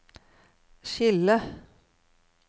skille